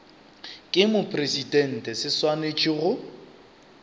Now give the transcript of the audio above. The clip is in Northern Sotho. ke mopresidente se swanetše go